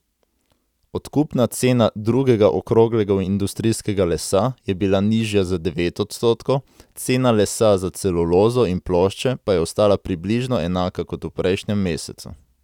Odkupna cena drugega okroglega industrijskega lesa je bila nižja za devet odstotkov, cena lesa za celulozo in plošče pa je ostala približno enaka kot v prejšnjem mesecu.